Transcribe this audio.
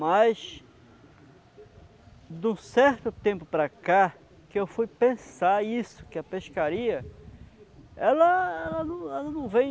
Mas, de um certo tempo para cá, que eu fui pensar isso, que a pescaria, ela ela não ela não vem